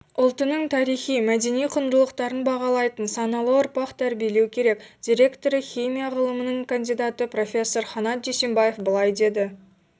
ұлтының тарихи-мәдени құндылықтарын бағалайтын саналы ұрпақ тәрбиелеу керек директоры химия ғылымының кандидаты профессор ханат дүйсебаев былай деді